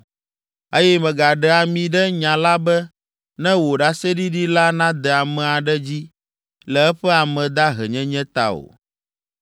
eye mègaɖe ami ɖe nya la be ne wò ɖaseɖiɖi la nade ame aɖe dzi le eƒe amedahenyenye ta o.